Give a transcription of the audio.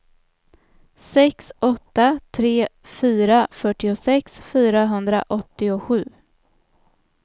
sex åtta tre fyra fyrtiosex fyrahundraåttiosju